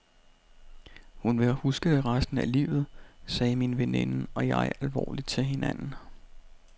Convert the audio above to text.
Hun vil huske det resten af livet, sagde min veninde og jeg alvorligt til hinanden.